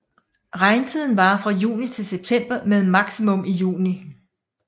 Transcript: Regntiden varer fra juni til september med maksimum i juni